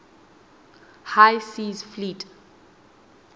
high seas fleet